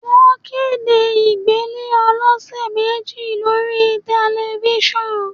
Wọ́n kéde ìgbélé ọlọsẹ̀ méjì lórí Tẹ̀lifísàn